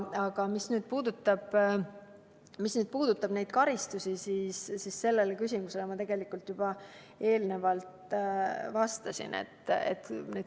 Aga mis puudutab karistusi, siis sellele küsimusele ma tegelikult enne juba vastasin.